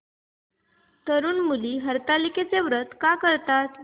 तरुण मुली हरतालिकेचं व्रत का करतात